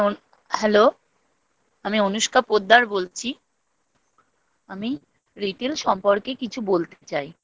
Hello আমি অনুষ্কা পোদ্দার বলছি আমি Retail সম্পর্কে কিছু বলতে চাই